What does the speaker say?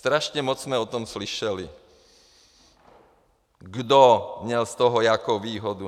Strašně moc jsme o tom slyšeli, kdo měl z toho jakou výhodu.